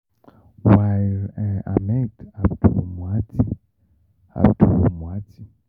Hamed Abdul Moati. Abdul Moati.